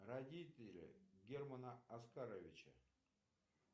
родители германа оскаровича